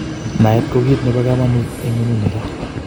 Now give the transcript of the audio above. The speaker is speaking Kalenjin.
Naet ko kit nebo kamanut eng ngonyuni ra